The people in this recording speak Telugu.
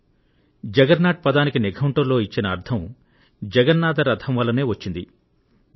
నిఘంటువులో జగర్నాట్ పదానికి వ్యుత్పత్తి జగన్నాథ రథం నుండే తీసుకోబడినట్లుగా ఉంటుంది